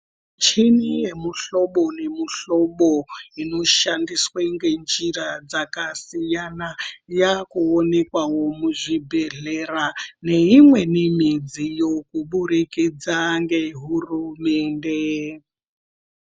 Michini yemuhlobo nemuhlobo inoshandiswe ngenjira dzakasiyana yakuonekawo muzvibhehlera neimweniwo midziyo kubudikidza ngehurumende.